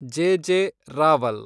J. J. Rawal